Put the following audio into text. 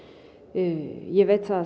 ég veit það